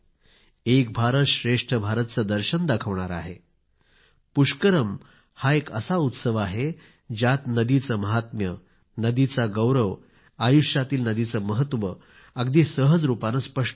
एक भारत श्रेष्ठ भारत चे दर्शन दाखवणारा आहे पुष्करम हा एक असा उत्सव आहे ज्यात नदीचे महात्म्य नदीचा गौरव आयुष्यातील नदीचे महत्व अगदी सहज रूपाने स्पष्ट होते